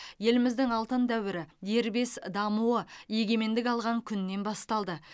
еліміздің алтын дәуірі дербес дамуы егемендік алған күннен басталды